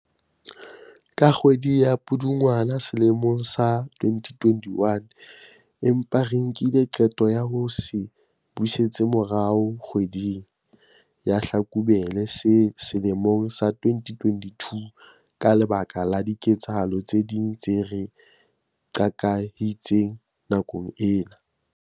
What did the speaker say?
ka kgwedi ya Pudungwana selemong sa 2021, empa re nkile qeto ya ho se busetsa morao kgwe ding ya Hlakubele sele mong sa 2022 ka lebaka la diketsahalo tse ding tse re qakehisitseng nakong ena.